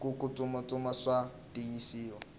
kutsutsuma swa tiyisa